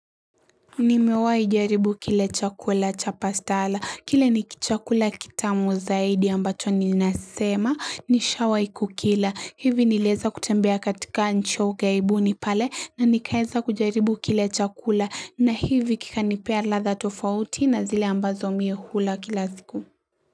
Nimewahi jaribu kile chakula cha pastala. Kile ni kichakula kitamu zaidi ambacho ninasema nishawahi kukila. Hivi nilieza kutembea katika nchi ya ughaibuni pale na nikaeza kujaribu kile chakula na hivi kikanipea ladha tofauti na zile ambazo minhula kila siku.